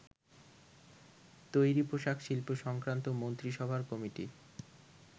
তৈরী পোশাক শিল্প সংক্রান্ত মন্ত্রিসভা কমিটির